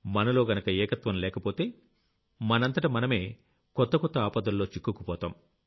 మనలో గనక ఏకత్వం లేకపోతే మనంతట మనమే కొత్త కొత్త ఆపదల్లో చిక్కుకుపోతాం